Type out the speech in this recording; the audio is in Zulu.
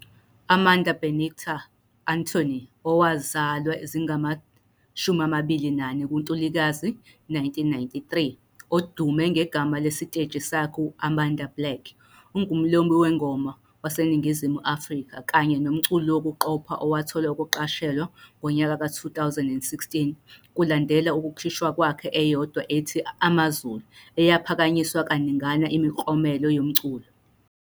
Amanda Benedicta Antony, owazalwa zingama-24 kuNtulikazi 1993, odume ngegama lesiteji sakhe Amanda Black, ungumlobi-wengoma waseNingizimu Afrika kanye nomculi wokuqopha owathola ukuqashelwa ngonyaka ka-2016 kulandela ukukhishwa kwakhe eyodwa ethi "Amazulu", eyaphakanyiswa kaningana imiklomelo yomculo.